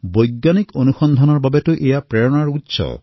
বৈজ্ঞানিক সন্ধানৰ প্ৰেক্ষাপটত প্ৰকৃত প্ৰেৰণাতো এয়াই